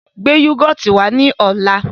Gbé yúgọ́ọ́tì wá ní ọ̀la!